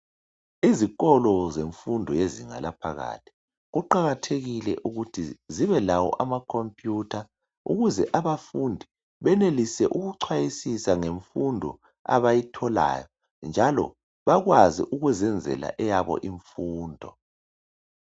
Izikolo zemfundo yezinga laphakathi kuqakathekile ukuthi zibelawo amacomputer ukuze abafundi benelise ukuchwayisa ngemfundo bayitholayo njalo bakwazi ukuzenzela eyabo imfundo.